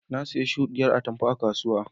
Na siya shuɗin atamfa a kasuwa.